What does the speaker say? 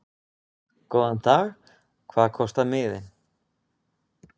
Góðan dag. Hvað kostar miðinn?